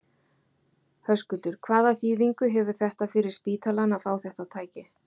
Höskuldur: Hvaða þýðingu hefur þetta fyrir spítalann að fá þetta tæki?